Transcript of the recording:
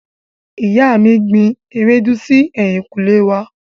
Ìyá mi gbin ewédú si ẹ̀yìnkùlé wá.